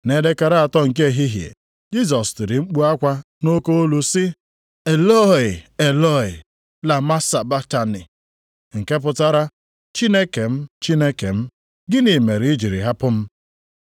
Nʼelekere atọ nke ehihie, Jisọs tiri mkpu akwa nʼoke olu sị, \+wj “Elọi, Elọi, lama sabaktani!”\+wj* (nke pụtara, “Chineke m, Chineke m, gịnị mere i jiri hapụ m?”). + 15:34 \+xt Abụ 22:1\+xt*